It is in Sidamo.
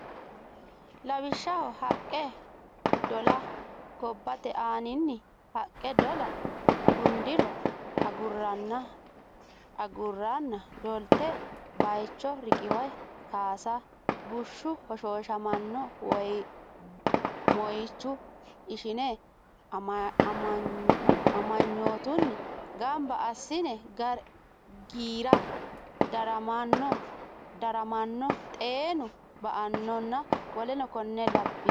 Lawishsha haqqe dola Gobbate aaninni haqqe dolle gundiro agurranna dollite baycho riqiwe kaasa bushshu hoshooshamanno moychu ishine amanyootunni gamba assinne giira daramanno xeenu ba annonna w k l w k l.